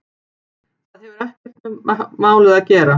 Það hefur akkúrat ekkert með málið að gera!